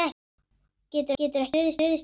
Geturðu ekki stuðst við minnið?